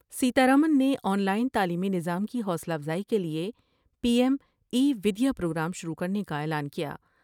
سیتارمن نے online تعلیمی نظام کی حوصلہ افزائی کے لئے P M e Vidya programme شروع کر نے کا اعلان کیا ۔